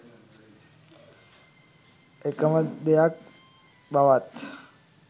එකම දෙයක් බවත්